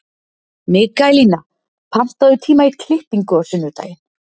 Mikaelína, pantaðu tíma í klippingu á sunnudaginn.